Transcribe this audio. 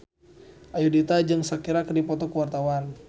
Ayudhita jeung Shakira keur dipoto ku wartawan